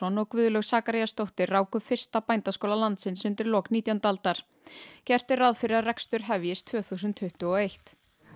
og Guðlaug ráku fyrsta bændaskóla landsins undir lok nítjándu aldar gert er ráð fyrir að rekstur hefjist tvö þúsund tuttugu og eitt